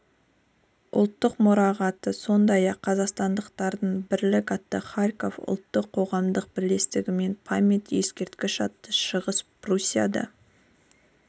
ұлттық мұрағаты сондай-ақ қазақстандықтардың бірлік атты харков ұлттық қоғамдық бірлестігінен память ескерткіш атты шығыс пруссияда